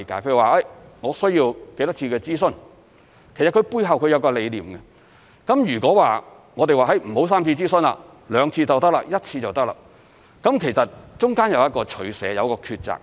譬如說，需要多少次諮詢，其實背後有其理念，如果說不要3次諮詢 ，2 次或1次就可以，那其實中間有一個取捨、有一個抉擇。